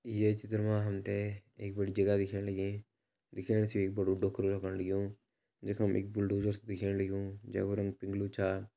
ये चित्र मा हमते एक बड़ी जगह दिखेण लगीं। दिखेण सी यु एक बड़ु डोकरु लगण लग्यूं जखम एक बुलडोज़र स दिखेण लग्युं जैकु रंग पिंग्लू छा।